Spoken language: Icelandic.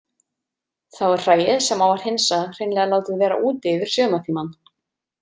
Þá er hræið sem á að hreinsa hreinlega látið vera úti yfir sumartímann.